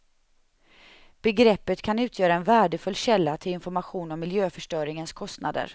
Begreppet kan utgöra en värdefull källa till information om miljöförstöringens kostnader.